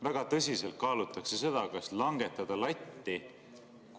Väga tõsiselt kaalutakse seda, kas langetada latti.